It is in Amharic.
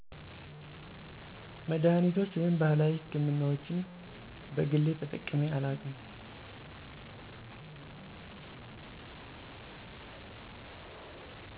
መድሃኒቶች ወይም ባህላዊ ሕክምናዎችን በግሌ ተጠቅሜ አላውቅም።